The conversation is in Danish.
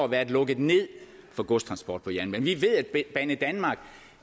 været lukket ned for godstransport på jernbane vi ved at banedanmark